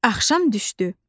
Axşam düşdü.